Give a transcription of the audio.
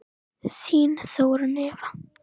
Þín Þórunn Eva.